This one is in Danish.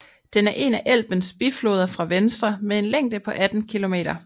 Den er en af Elbens bifloder fra venstre med en længde på 18 km